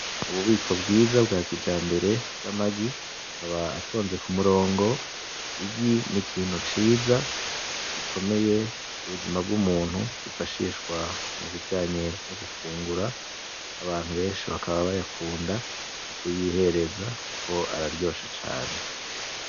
Ububiko bwiza bwa kijambere bw'amagi, akaba atonze ku murongo. Igi ni ikintu ciza gikomeye mu buzima bw'umuntu. Gifashishwa mu bijanye no gufungura. Abantu benshi bakaba bayakunda kuyihereza kuko araryoshe cane.